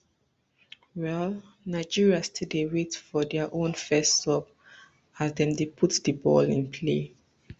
well nigeriastill dey wait for dia own first sub as dem dey put di ball in play